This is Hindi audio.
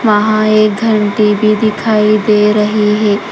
वहां एक घंटी भी दिखाई दे रही है।